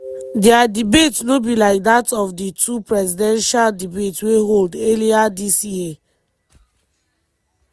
dia debate no be like dat of di two presidential debates wey hold earlier dis year.